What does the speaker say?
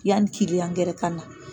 Yani kiliyan yɛrɛ ka na